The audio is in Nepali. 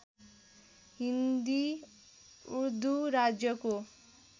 हिन्दी उर्दू राज्यको